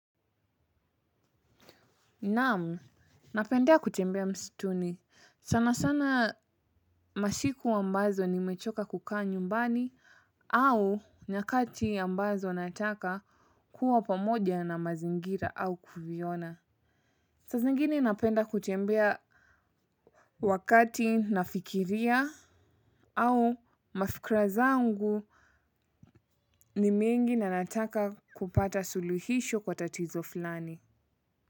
Naamu, napendea kutembea mstuni. Sana sana masiku ambazo ni mechoka kukaa nyumbani au nyakati ambazo nataka kuwa pamoja na mazingira au kuviona. Sa za ingine napenda kutembea wakati nafikiria au mafikira zangu ni mingi na nataka kupata suluhisho la tatizo fulani.